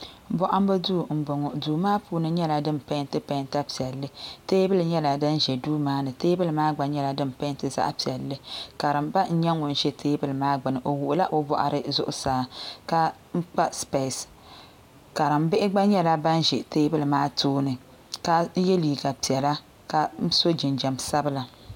bohambu duu n bɔŋɔ duu maa puuni nyɛla din peenti peenta piɛlli teebuli nyɛla din ʒɛ duu maa ni teebuli maa gba nyɛla din peenti zaɣ piɛlli karimba n nyɛ ŋun ʒɛ teebuli maa gbuni o wuɣila o boɣari zuɣusaa ka n kpa spees karimbihi gba nyɛla bin ʒi teebuli maa gbuni ka yɛ liiga piɛla ka so jinjɛm sabila